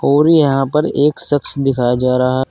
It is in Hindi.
और यहां पर एक शख्स दिखाया जा रहा--